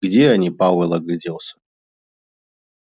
где они пауэлл огляделся